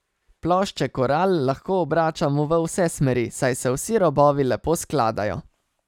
Plošče Koral lahko obračamo v vse smeri, saj se vsi robovi lepo skladajo.